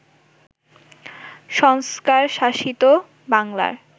সংস্কারশাসিত বাংলার